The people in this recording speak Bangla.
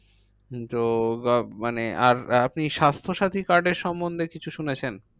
তো মানে আর আপনি স্বাস্থ্যসাথী card এর সন্বন্ধে কিছু শুনেছেন?